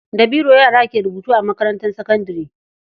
Da biro yara ke rubutu a makarantar sakandare.